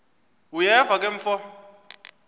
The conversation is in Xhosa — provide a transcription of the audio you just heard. uyeva ke mfo